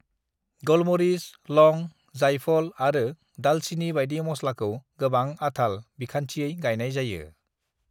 "गलमरिस, लौंग, जायफल आरो दालचीनी बायदि मस्लाखौ गोबां-आथाल बिखान्थियै गायनाय जायो।"